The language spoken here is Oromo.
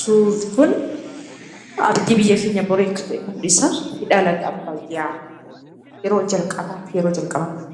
Suurri kun abdii biyya keenya borii akka ta'e mul'isa.